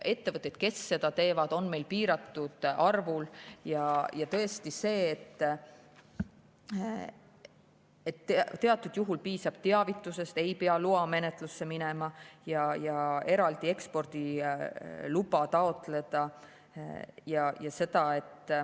Ettevõtteid, kes seda teevad, on meil piiratud arvul, ja tõesti teatud juhul piisab teavitusest, ei pea loamenetlusse minema ja eraldi ekspordiluba taotlema.